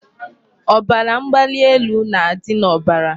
Ọbara mgbali elu na-adị n'obara.